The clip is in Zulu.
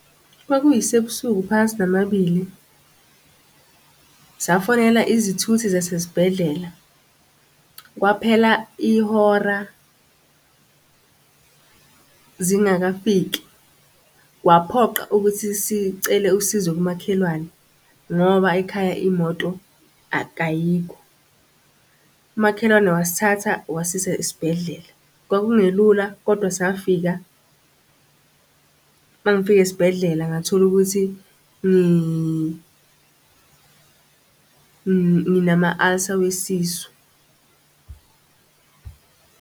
Kwakuyisebusuku phakathi namabili, safonela izithuthi zasesibhedlela, kwaphela ihora zingakafiki, kwaphoqa ukuthi sicele usizo kumakhelwane, ngoba ekhaya imoto ayibo. Umakhelwane wasithatha wasisa esibhedlela kwakungelula kodwa safika mangifika esibhedlela ngathola ukuthi nginama-ulcer wesisu.